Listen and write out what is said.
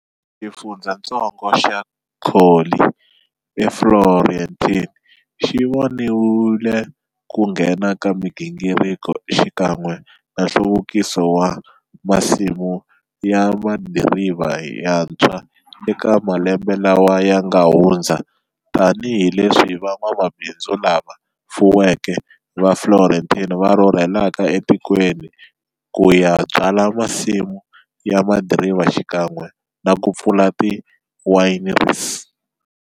Xifundzhantsongo xa Colli Fiorentini xivonile ku nghena ka migingiriko xikan'we na nhluvukiso wa masimu ya madiriva yantshwa eka malembe lawa yanga hundza tani hileswi van'wamabindzu lava fuweke va Florentine va rhurhelaka e tikweni kuya byala masimu ya madiriva xikan'we naku pfula ti wineries.